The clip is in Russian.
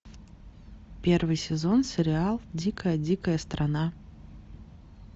первый сезон сериал дикая дикая страна